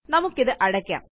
നമുക്കിത് അടയ്ക്കാം